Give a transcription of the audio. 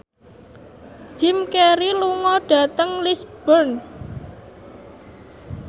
Jim Carey lunga dhateng Lisburn